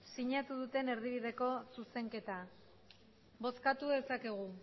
sinatu duten erdibideko zuzenketa bozkatu dezakegu